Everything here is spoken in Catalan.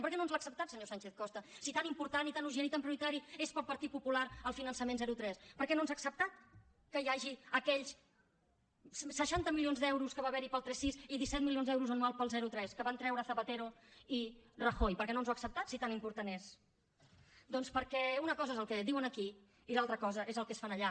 per què no ens l’ha acceptat senyor sánchez costa si tan important i tan urgent i tan prioritari és per al partit popular el finançament zero tres per què no ens ha acceptat que hi hagi aquells seixanta milions d’euros que va haver hi per al tres sis i disset milions d’euros anuals per al zero tres que van treure zapatero i rajoy per què no ens ho ha acceptat si tan important és doncs perquè una cosa és el que diuen aquí i l’altra cosa és el que es fa allà